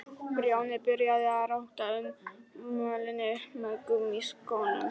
Grjóni byrjaði að róta upp mölinni með gúmmískónum.